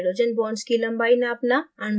hydrogen bonds की लम्बाई नापना